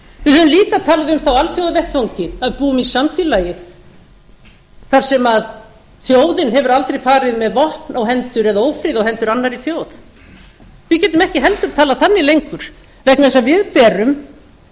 við höfum líka talað um það á alþjóðavettvangi að við búum í samfélagi þar sem þjóð hefur aldrei farið með vopn eða ófrið á hendur annarri þjóð við getum ekki heldur talað þannig lengur vegna þess að við berum